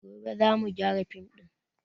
Gobe za mu gyara fim din